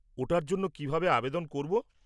ওটার জন্য কীভাবে আবেদন করব?